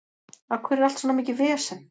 Af hverju er allt svona mikið vesen?